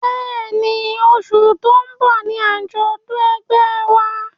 Bẹ́ẹ̀ni, oṣù tí ó ń bọ̀ ni àjọ̀dún ẹgbẹ́ wa